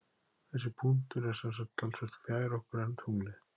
Þessi punktur er sem sagt talsvert fjær okkur en tunglið.